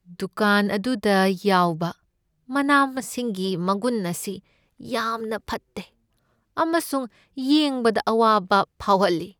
ꯗꯨꯀꯥꯟ ꯑꯗꯨꯗ ꯌꯥꯎꯕ ꯃꯅꯥ ꯃꯁꯤꯡꯒꯤ ꯃꯒꯨꯟ ꯑꯁꯤ ꯌꯥꯝꯅ ꯐꯠꯇꯦ ꯑꯃꯁꯨꯡ ꯌꯦꯡꯕꯗ ꯑꯋꯥꯕ ꯐꯥꯎꯍꯜꯂꯤ꯫